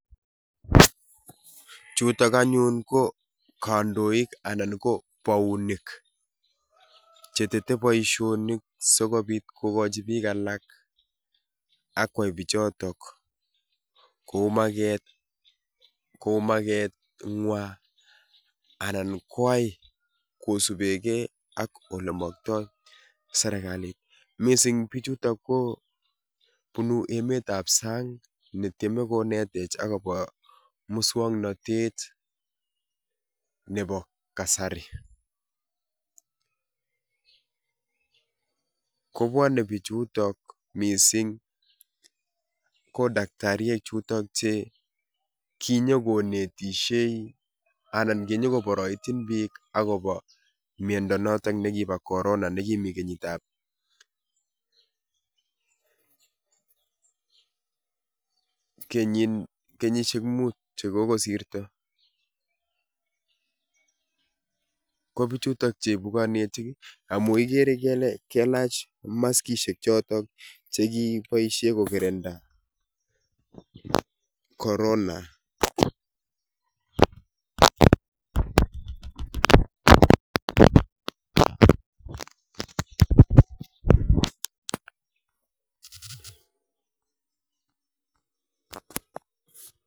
Chutok anyun ko kandoik anan ko bounik che tetee boishonik sikobit kokochi biik alak akwai bichotok kou makeet kou mekeng'wa anan koyai kosubekee ak olemoktoi serikalit mising bichutok ko bunu emetab sang netieme konetech akobo muswoknotet nebo kasari, kobwonee bichutok mising kotakitariek chuton chekinyokonetishe anan kinyo koboroityin biik akobo miondo noton nekibo corona nekimii kenyitab kenyishek muut chekikosirto, kobichutok cheibu konetik amun ikere kelee kailach maskishek chotok chekiboishe ko kirinda corona.